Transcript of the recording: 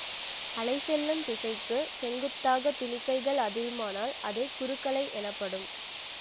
அலை செல்லும் திசைக்குச் செங்குத்தாக துணிக்கைகள் அதிருமானால் அது குறுக்கலை எனப்படும்